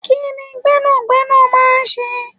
Kini Gbẹ́nàgbẹ́nà máa ń ṣe?